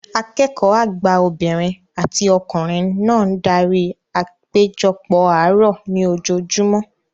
Akẹ́kọ̀ọ́ àgbà obìnrin àti ọkùnrin náà darí apejopo àárọ̀ ní ojoojúmọ́